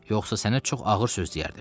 Yoxsa sənə çox ağır söz deyərdim.